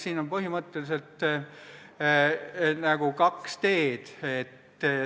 Siin on põhimõtteliselt kaks teed.